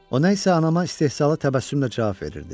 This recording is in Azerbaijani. O nə isə anama istehza təbəssümlə cavab verirdi.